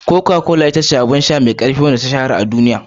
Coca-Cola shine abin sha mai bada ƙarfi da ya shahara a duniya.